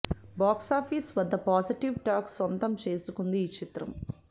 box office వద్ద positive talk సొంతం చేసుకుంది ఈ చిత్రం